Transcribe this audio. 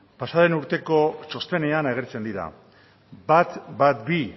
pasadan urteko txostenean agertzen dira ehun eta hamabi